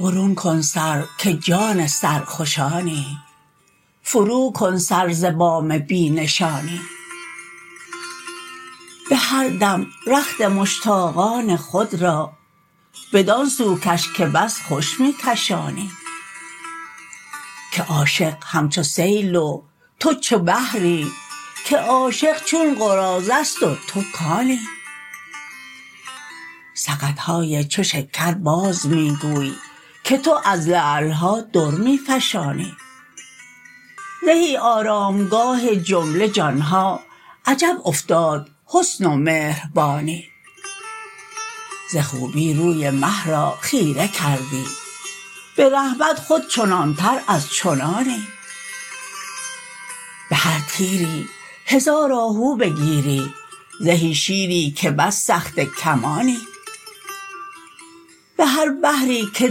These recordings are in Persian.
برون کن سر که جان سرخوشانی فروکن سر ز بام بی نشانی به هر دم رخت مشتاقان خود را بدان سو کش که بس خوش می کشانی که عاشق همچو سیل و تو چو بحری که عاشق چون قراضه ست و تو کانی سقط های چو شکر باز می گوی که تو از لعل ها در می فشانی زهی آرامگاه جمله جان ها عجب افتاد حسن و مهربانی ز خوبی روی مه را خیره کردی به رحمت خود چنانتر از چنانی به هر تیری هزار آهو بگیری زهی شیری که بس سخته کمانی به هر بحری که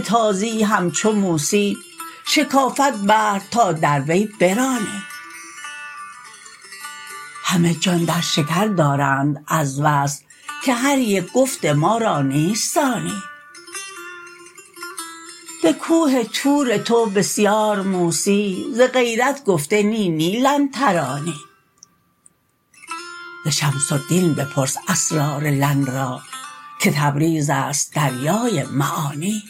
تازی همچو موسی شکافد بحر تا در وی برانی همه جان در شکر دارند از وصل که هر یک گفت ما را نیست ثانی به کوه طور تو بسیار موسی ز غیرت گفته نی نی لن ترانی ز شمس الدین بپرس اسرار لن را که تبریز است دریای معانی